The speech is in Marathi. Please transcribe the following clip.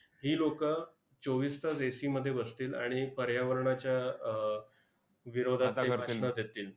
ही लोकं चोवीस तास AC मध्ये बसतील, आणि पर्यावरणाच्या अह विरोधात देतील.